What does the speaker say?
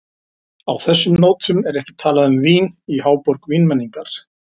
Á þessum nótum er ekki talað um vín í háborg vínmenningar.